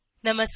नमस्कार